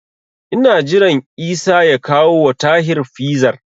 Ina jiran Isa ya kawowa Tahir Fizar.